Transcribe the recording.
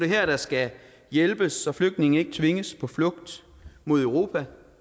her der skal hjælpes så flygtninge ikke tvinges på flugt mod europa